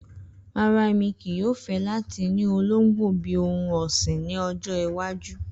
Rara, Emi kii yoo fẹ lati ni ologbo bi ohun ọsin ni ọjọ iwaju.